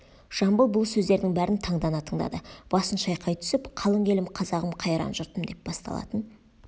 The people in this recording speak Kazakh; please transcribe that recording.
жамбыл бұл сөздердің бәрін таңдана тыңдады басын шайқай түсіп қалың елім қазағым қайран жұртым деп басталатын